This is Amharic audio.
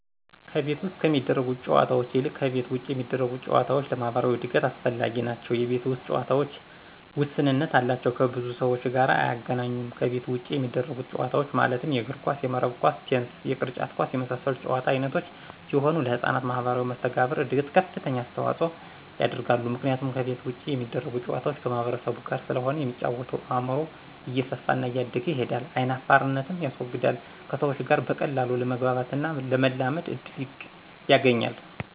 ከቤት ውስጥ ከሚደረጉ ጨዎታዎች ይልቅ ከቤት ውጭ የሚደረጉ ጨዎታዎች ለማህበራዊ እድገት አስፈላጊዎች ናቸው የቤት ውስጥ ጨዎታዎች ውስንነት አላቸው ከብዙ ሰዎች ጋር አያገናኙም ከቤት ውጭ የሚደረጉት ጨዎታዎች ማለትም የእግር ኳስ :የመረብ ኳስ :ቴንስ የቅርጫት ኳስ የመሳሰሉት የጨዎታ አይነቶች ሲሆኑ ለህጻናት ማህበራዊ መሰተጋብር እድገት ከፍተኛ አስተዋጽኦ ያደርጋሉ ምክንያቱም ከቤት ውጭ የሚደረጉ ጨዋታዎች ከማህበረሰቡ ጋር ስለሆነ የሚጫወተው አእምሮው እየሰፋና እያደገ ይሄዳል አይናፋርነትንም ያስወግዳል ከሰዎች ጋር በቀላሉ ለመግባባትና ለመላመድ እድል ያገኛል።